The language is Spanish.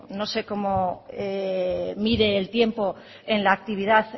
no sé cómo mide el tiempo en la actividad